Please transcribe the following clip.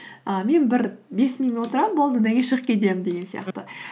і мен бір бес минут отырамын болды одан кейін шығып кетемін деген сияқты